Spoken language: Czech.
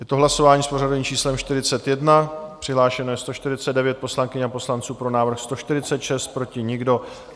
Je to hlasování s pořadovým číslem 41, přihlášeno je 149 poslankyň a poslanců, pro návrh 146, proti nikdo.